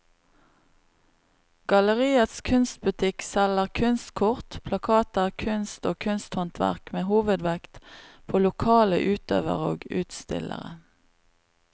Galleriets kunstbutikk selger kunstkort, plakater, kunst og kunsthåndverk med hovedvekt på lokale utøvere og utstillere.